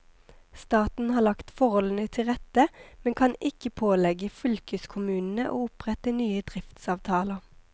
Staten har lagt forholdene til rette, men kan ikke pålegge fylkeskommunene å opprette nye driftsavtaler.